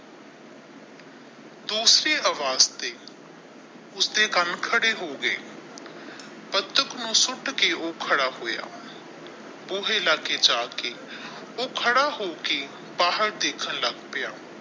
ਦੂਸਰੀ ਆਵਾਜ਼ ਤੇ ਉਸਦੇ ਕੰਨ ਖਾੜੇ ਹੋ ਗਏ ਨੂੰ ਸ਼ੂਟ ਕੇ ਊਹ ਖੜਾ ਹੋਇਆ ਬੂਹੇ ਲਾਗੇ ਜਾ ਕੇ ਊਹ ਖੜਾ ਹੋ ਕੇ ਬਾਹਰ ਦੇਖਣ ਲੱਗ ਪਈਆਂ।